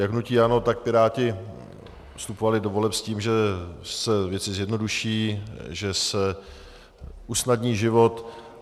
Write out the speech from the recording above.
Jak hnutí ANO, tak Piráti vstupovali do voleb s tím, že se věci zjednoduší, že se usnadní život.